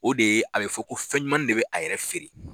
O de ye a be fɔ ko fɛn ɲumanni de be a yɛrɛ feere.